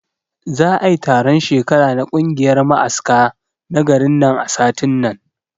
Za'ai taron shekara na kungiyar ma'aska na garin nan a satin nan